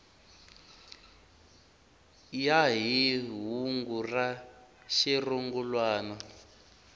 ya hi hungu ra xirungulwana